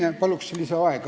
Jah, palun!